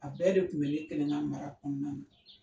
A bɛɛ de kun bɛ ne kelen na mara kɔnɔna na.